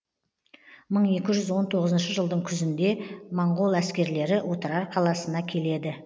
мың екі жүз он тоғызыншы жылдың күзінде моңғол әскерлері отырар қаласына келеді